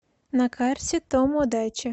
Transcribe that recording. на карте томодаче